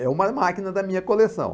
É uma máquina da minha coleção.